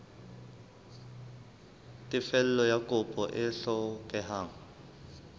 tefello ya kopo e hlokehang